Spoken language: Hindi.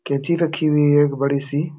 केंची रखी हुई है एक बड़ी-सी।